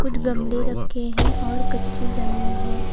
कुछ गमले रखे हैं और कच्ची जमीन है।